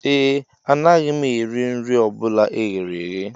Ee, anaghị m eri nri ọ bụla e ghere eghe